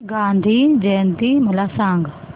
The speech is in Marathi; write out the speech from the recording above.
गांधी जयंती मला सांग